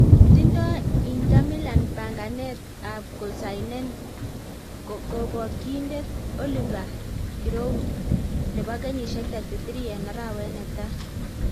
Tindo Inter Milan panganet ab kosainen Kobokyinindet Oliver Giroud, nebo kenyisiek 33 en arawet netai